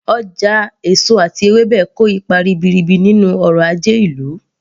Ọjà èso àti ewébẹ̀ kò ipa ribiribi nínú ọrọ̀ ajé ìlú